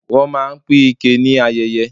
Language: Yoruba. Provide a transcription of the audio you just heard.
Wọ́n máa ń pín ike ni ayeye.